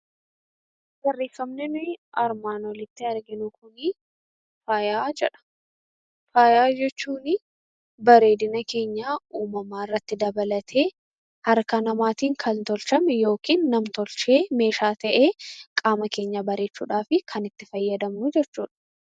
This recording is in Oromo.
Barreeffamni nuti argaa jirru kuni faaya jedha. Faayaa jechuun bareedina mana keenyaa dabalatee harka namaatiin kan tolchame yookiin nam-tolchee ta'ee, qaama keenya bareechuudhaaf kan itti fayyadamnuu jechuudha.